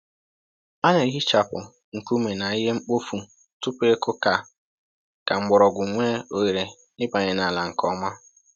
A na‑ehichapụ nkume na ihe mkpofu tupu ịkụ ka ka mgbọrọgwụ nwee ohere ịbanye n’ala nke ọma.